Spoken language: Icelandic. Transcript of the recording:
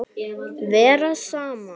Vera saman.